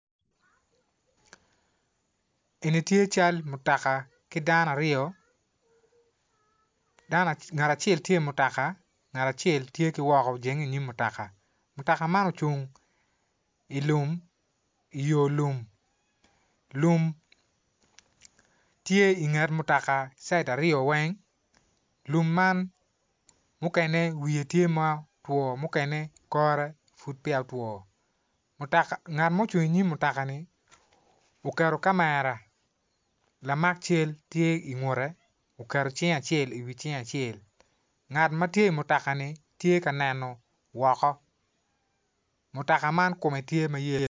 Eni tye cal mutaka ki dano aryo ngat acel tye i mutoka ngat acel tye ki woko ojenge inyim mutoka, mutoka man ocung ilum iyo lum, lum tye inget mutaka cita aryo weny lum man mukene wiye tye ma otwo mukene kore pud peya otwo mutaka ngat ma ocung i nyim mutaka-ni uketo kamera lamak cal tye ingutte uketo cinge acel iwi cinge acel ngat ma tye i mutaka-ni tye ka neno woko mutaka man kume tye ma yelo